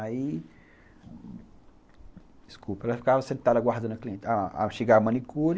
Aí, desculpa, ela ficava sentada aguardando a cliente, a a chegar a manicure,